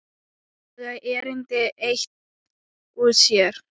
Baga erindi eitt og sér.